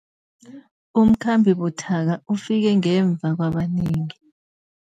Umkhambi buthaka ufike ngemva kwabanengi.